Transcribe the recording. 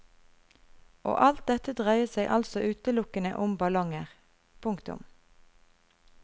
Og alt dette dreier seg altså utelukkende om ballonger. punktum